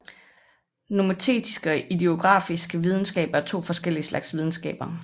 Nomotetiske og idiografiske videnskaber er to forskellige slags videnskaber